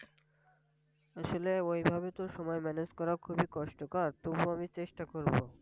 আসলে ওইভাবে তো সময় Manage করা খুবই কষ্টকর।